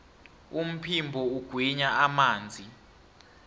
umphimbo ugwinya amanzi